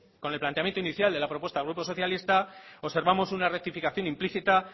con el planteamiento inicial de la propuesta del grupo socialista observamos una rectificación implícita